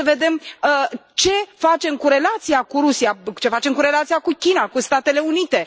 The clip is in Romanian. Trebuie să vedem ce facem cu relația cu Rusia, ce facem cu relația cu China, cu Statele Unite?